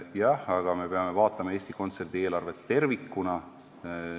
Jah, aga me peame vaatama Eesti Kontserdi eelarvet tervikuna.